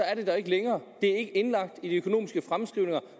er det der ikke længere det er ikke indlagt i de økonomiske fremskrivninger